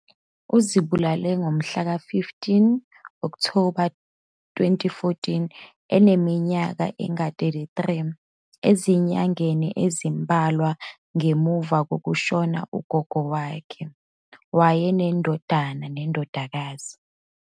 Uzibulale ngomhlaka 15 Okthoba 2014, eneminyaka engama-33, ezinyangeni ezimbalwa ngemuva kokushona kukagogo wakhe. Wayenendodana nendodakazi.